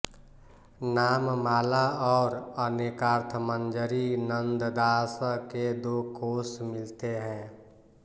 नाममाला और अनेकार्थमंजरी नंददासं के दो कोश मिलते हैं